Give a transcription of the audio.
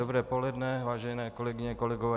Dobré poledne, vážené kolegyně, kolegové.